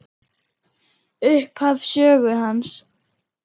Upphaf sögu hans.